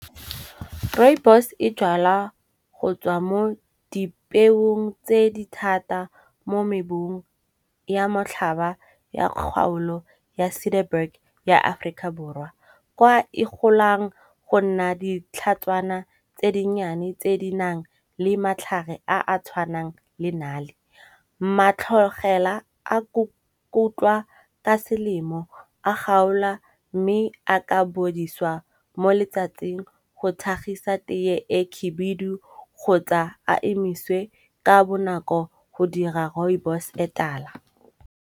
Rooibos e jalwa go tswa mo dipeong tse di thata mo mebung ya motlhaba ya kgaolo ya ya aforika borwa. Kwa e golang go nna ditlhatswana tse dinnyane tse di nang le matlhare a a tshwanang le nale. Matlhogela a kotlwa ka selemo, a kgaola mme a ka bodiswa mo letsatsing go thagisa teye e khebedu kgotsa a emiswe ka bonako go dira rooibos e tala.